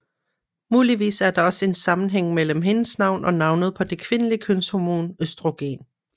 Muligvis er der også en sammenhæng mellem hendes navn og navnet på det kvindelige kønshormon østrogen